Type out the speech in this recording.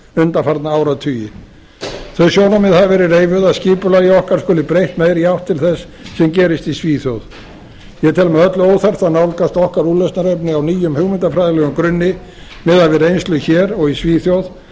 undanfarna áratugi þau sjónarmið hafa verið reifuð að skipulagi okkar skuli breytt meira í átt til þess sem gerist í svíþjóð ég tel með öllu óþarft að nálgast okkar úrlausnarefni á nýjum hugmyndafræðilegum grunni miðað við reynslu hér og í svíþjóð af